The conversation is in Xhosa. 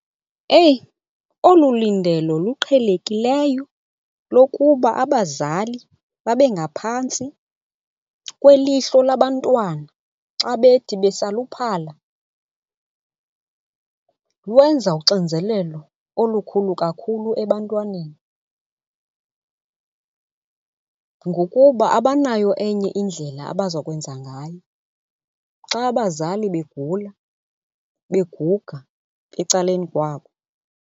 Eyi, olu lindelo luqhelekileyo lokuba abazali babe ngaphantsi kwelihlo labantwana xa bethi besaluphala lwenza uxinzelelo olukhulu kakhulu ebantwaneni ngokuba abanayo enye indlela abaza kwenza ngayo xa abazali begula beguga ecaleni kwabo.